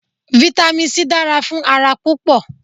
Vitamin C dára fún ara púpọ̀